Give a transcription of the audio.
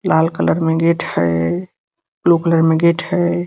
लाल colour में gate है blue colour में गेट है।